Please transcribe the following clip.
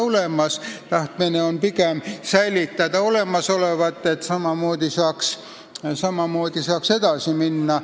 Pigem on tahtmine säilitada olemasolevat, et saaks vanamoodi edasi minna.